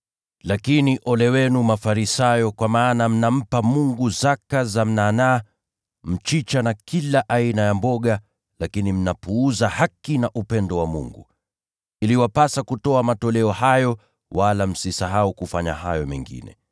“Lakini ole wenu, Mafarisayo, kwa maana mnampa Mungu zaka za mnanaa, mchicha na kila aina ya mboga, lakini mnapuuza haki na upendo wa Mungu. Iliwapasa kufanya haya ya pili bila kupuuza hayo ya kwanza.